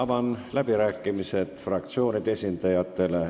Avan läbirääkimised fraktsioonide esindajatele.